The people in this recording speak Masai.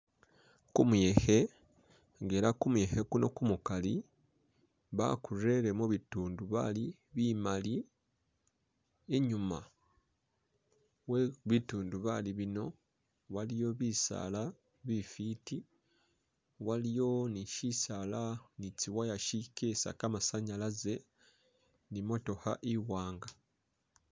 Kumuyekhe, nga ela kumuyekhe kuno kuli kumukali, bakurele mubitundubali bimali i'nyuma webitundubali bino waliyo bisaala bifiti waliyo ni shisaala ni tsiwire tsikesa kamasanyalaze ni motookha i'waanga